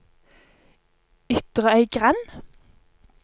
Ytrøygrend